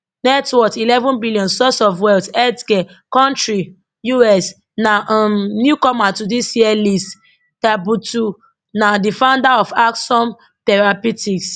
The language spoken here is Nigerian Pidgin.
net worth eleven billion source of wealth health care country US na um newcomer to dis year list tabuteau na di founder of axsome therapeutics